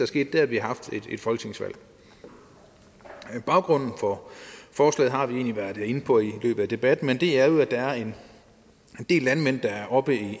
sket er at vi har haft et folketingsvalg baggrunden for forslaget har vi egentlig været inde på i løbet af debatten men det er jo at der er en del landmænd der er oppe